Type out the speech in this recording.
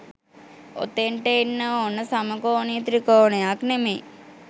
ඔතෙන්ට එන්න ඕන සමකෝණී ත්‍රිකෝණයක් නෙමෙයි